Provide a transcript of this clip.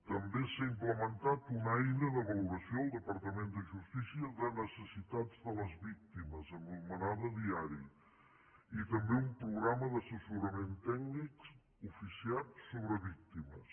també s’ha implementat una eina de valoració en el departament de justícia de necessitats de les víctimes anomenada diari i també un programa d’assessorament tècnic oficiat sobre víctimes